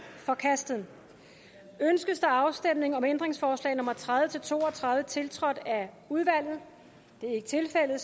forkastet ønskes der afstemning om ændringsforslag nummer tredive til to og tredive tiltrådt af udvalget det er ikke tilfældet